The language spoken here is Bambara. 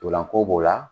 Ntolanko b'o la